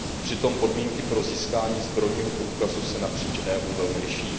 Přitom podmínky pro získání zbrojního průkazu se napříč EU velmi liší.